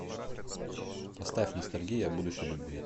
поставь ностальгия о будущей любви